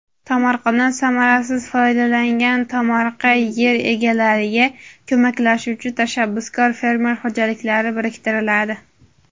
Tomorqadan samarasiz foydalangan tomorqa yer egalariga ko‘maklashuvchi tashabbuskor fermer xo‘jaliklari biriktiriladi.